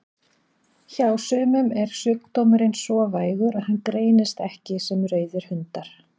Hjá sumum er sjúkdómurinn svo vægur að hann greinist ekki sem rauðir hundar.